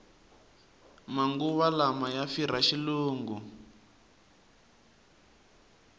manguva lawa ku firha xilungu